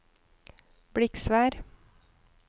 Bliksvær